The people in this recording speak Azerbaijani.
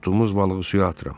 Tutduğumuz balığı suya atıram.